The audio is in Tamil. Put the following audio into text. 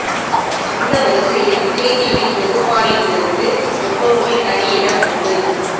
அந்த வரிசையில் விஜய் டிவி தொகுப்பாளினிகளுக்கு எப்பவுமே தனி இடம் உண்டு